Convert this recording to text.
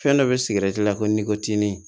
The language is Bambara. Fɛn dɔ be sigɛrɛti la ko ni tini